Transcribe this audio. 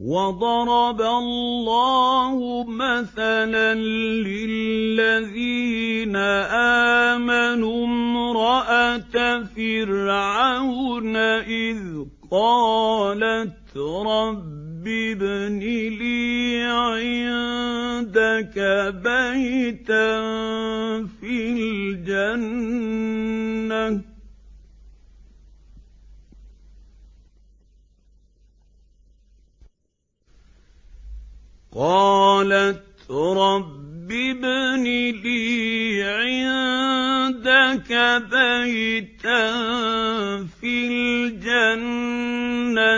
وَضَرَبَ اللَّهُ مَثَلًا لِّلَّذِينَ آمَنُوا امْرَأَتَ فِرْعَوْنَ إِذْ قَالَتْ رَبِّ ابْنِ لِي عِندَكَ بَيْتًا فِي الْجَنَّةِ